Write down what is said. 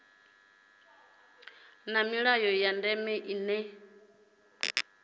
na milayo ya ndeme ine